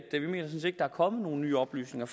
kommet nogen nye oplysninger